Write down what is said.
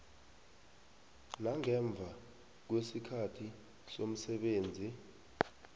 nangemva kwesikhathi somsebenzi